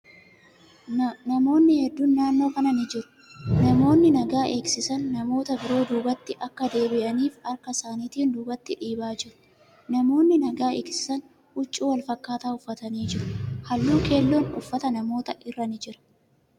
Namootni hedduun naannoo kana ni jiru. Namootni nagaa eegsisan, namoota biroo duubatti akka deebi'aniif harka isaanitiin dubaatti dhiibaa jiru. Namootni nagaa eegsisan huccuu wal fakkaataa uffatanii jiru. Halluu keellon uffata namootaa irra ni jira.